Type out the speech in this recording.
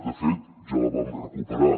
de fet ja la vam recuperar